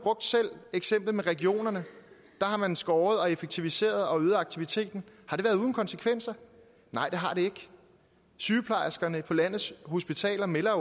selv eksemplet med regionerne der har man skåret og effektiviseret og øget aktiviteten har det været uden konsekvenser nej det har det ikke sygeplejerskerne på landets hospitaler melder